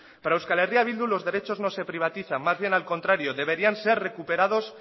para euskal herria bildu los derechos no se privatizan más bien al contrario deberían ser recuperados